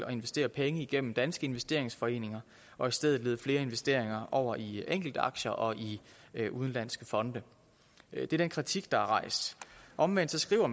og investere penge igennem danske investeringsforeninger og i stedet vil lede flere investeringer over i enkeltaktier og i udenlandske fonde det er den kritik der er rejst omvendt skriver